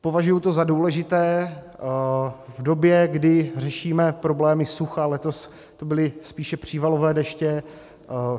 Považuji to za důležité v době, kdy řešíme problémy sucha; letos to byly spíše přívalové deště.